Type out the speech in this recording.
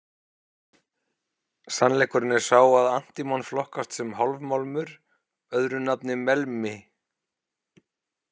Sannleikurinn er sá að antímon flokkast sem hálfmálmur, öðru nafni melmi.